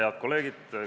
Head kolleegid!